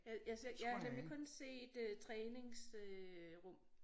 Jeg jeg ser jeg har nemlig kun set øh trænings øh rum